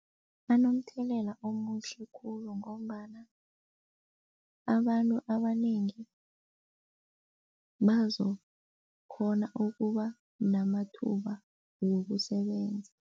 Anomthelela omuhle khulu ngombana abantu abanengi bazokhona ukuba namathuba wokusebenza.